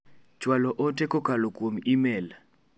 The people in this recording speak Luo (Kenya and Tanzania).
Chwalo ote kolalo kuom imel.